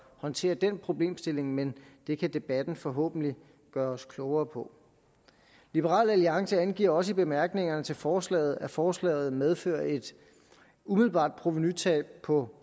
håndtere den problemstilling men det kan debatten forhåbentlig gøre os klogere på liberal alliance angiver også i bemærkningerne til forslaget at forslaget medfører et umiddelbart provenutab på